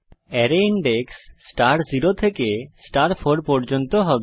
array index star 0 থেকে star 4 পর্যন্ত হবে